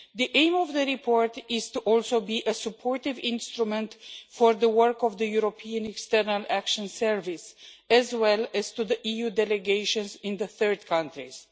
The aim of the report is also to be a supportive instrument for the work of the European External Action Service, as well as to the EU delegations in the third countries.